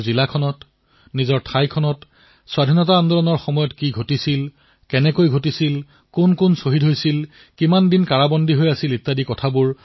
নিজৰ জিলাত নিজৰ ঠাইত স্বাধীনতাৰ আন্দোলনৰ সময়ত কি হৈছিল কোন শ্বহীদ হৈছিল কোনে কিমান সময় কাৰাবাস খাটিবলগীয়া হৈছিল